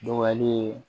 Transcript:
Dɔgɔyali